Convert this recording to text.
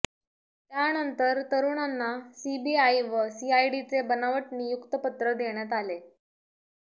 त्यानंतर तरुणांना सीबीआय व सीआयडीचे बनावट नियुक्तपत्र देण्यात आले